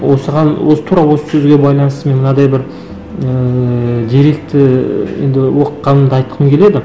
осыған осы тура осы сөзге байланысты мен мынандай бір ыыы деректі енді оқығанымды айтқым келеді